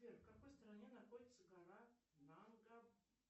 сбер в какой стране находится гора